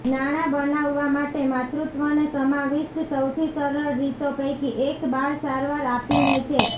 નાણાં બનાવવા માટે માતૃત્વને સમાવિષ્ઠ સૌથી સરળ રીતો પૈકી એક બાળ સારવાર આપીને છે